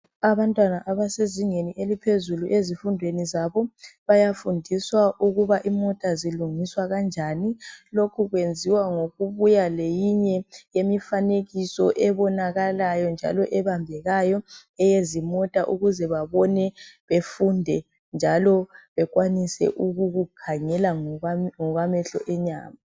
Abantwana abasezingeni eliphezulu ezifundweni zabo. Bayafundiswa ukuba imota zilungiswa kanjani. Lokhu kwenziwa ngokubuya leminye yemifanekiso ebonakalayo njalo ebambekayo eyezimota ukuze babone bafunde njalo bekwanise ukukukhangela ngokwamehlo enyama.